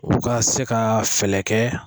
U ka se ka fɛɛrɛ kɛ